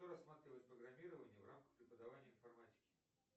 кто рассматривает программирование в рамках преподавания информатики